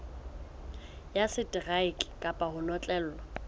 ya seteraeke kapa ho notlellwa